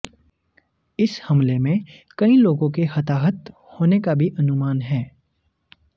इस हमले में कई लोगों के हताहत होने का भी अनुमान है